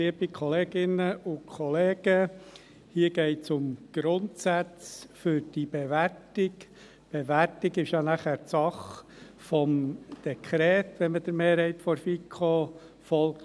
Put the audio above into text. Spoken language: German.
Die Bewertung ist Sache des Dekrets über die allgemeine Neubewertung der nichtlandwirtschaftlichen Grundstücke und Wasserkräfte (AND), wenn man der Mehrheit der FiKo folgt.